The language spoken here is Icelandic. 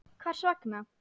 Hvers vegna?